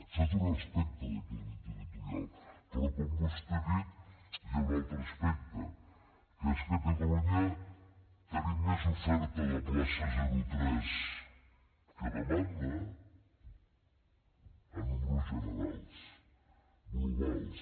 això té un aspecte d’equilibri territorial però com vostè ha dit hi ha un altre aspecte que és que a catalunya tenim més oferta de places zero tres que demanda en números generals globals